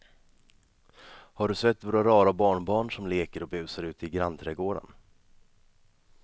Har du sett våra rara barnbarn som leker och busar ute i grannträdgården!